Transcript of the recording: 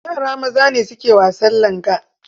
Yara maza ne suke wasan langa.